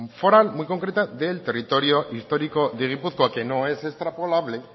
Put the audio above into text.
foral muy concreta del territorio histórico de gipuzkoa que no es extrapolable